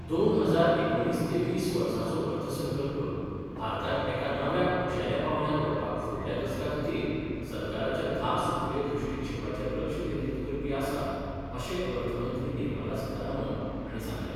दोन हजार एकुणीस ते वीस वर्साचो अर्थसंकल्प भारताक एका नव्या उंचेल्या पांवड्यार व्हरपाक फुडल्या दसका खातीर सरकाराच्या धा सुत्रीय दृश्टीक्षैपाचेर लक्ष केंद्रीत करपी आसा अशें अर्थ मंत्री निर्मला सितारामन हांणी सांगलें.